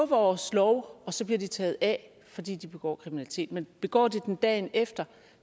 vores lov og så bliver de taget af fordi de begår kriminalitet men begår de den dagen efter